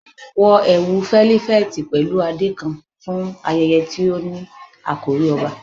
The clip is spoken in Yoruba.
Wọ ẹwu felifeti pẹlu ade kan fun ayẹyẹ ti o ni akori ọba